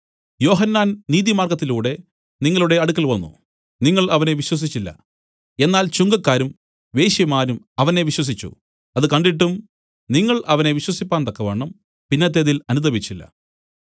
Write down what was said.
യോഹന്നാൻ നീതിമാർഗ്ഗത്തിലൂടെ നിങ്ങളുടെ അടുക്കൽ വന്നു നിങ്ങൾ അവനെ വിശ്വസിച്ചില്ല എന്നാൽ ചുങ്കക്കാരും വേശ്യമാരും അവനെ വിശ്വസിച്ചു അത് കണ്ടിട്ടും നിങ്ങൾ അവനെ വിശ്വസിപ്പാൻ തക്കവണ്ണം പിന്നത്തേതിൽ അനുതപിച്ചില്ല